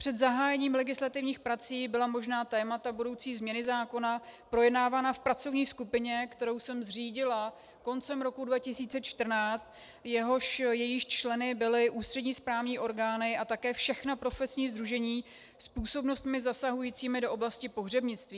Před zahájením legislativních prací byla možná témata budoucí změny zákona projednávána v pracovní skupině, kterou jsem zřídila koncem roku 2014, jejímiž členy byly ústřední správní orgány a také všechna profesní sdružení s působnostmi zasahujícími do oblasti pohřebnictví.